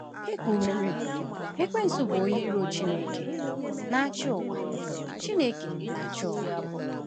E kwuwerị, Ekwensu bụ́ onye iro Chineke, na-achị ụwa. Chineke, na-achị ụwa.